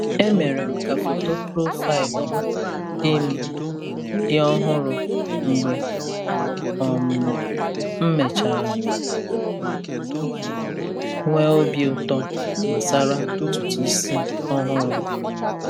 E mere m ka foto profaịlụ m dị m dị ọhụrụ mgbe um m mechara nwee obi ụtọ gbasara ntutu isi ọhụrụ m.